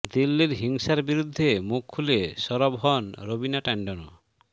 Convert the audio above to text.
দিল্লির হিংসার বিরুদ্ধে মুখ খুলে সরব হন রবিনা ট্যান্ডনও